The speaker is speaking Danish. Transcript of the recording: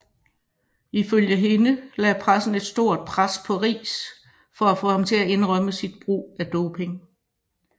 Ifølge hende lagde pressen et stort pres på Riis for at få ham til at indrømme sit brug af doping